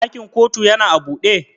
Ɗakin ƙotu yana a buɗe?